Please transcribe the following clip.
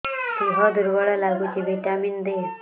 ଦିହ ଦୁର୍ବଳ ଲାଗୁଛି ଭିଟାମିନ ଦେ